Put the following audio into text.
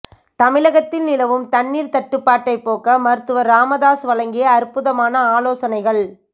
தமிழகத்தில் நிலவும் தண்ணீர் தட்டுபாட்டை போக்க மருத்துவர் ராமதாஸ் வழங்கிய அற்புதமான ஆலோசனைகள்